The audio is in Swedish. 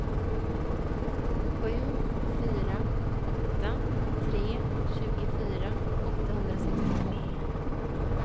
sju fyra åtta tre tjugofyra åttahundrasextiotvå